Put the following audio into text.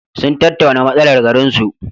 Sun tattauna matsalar garinsu.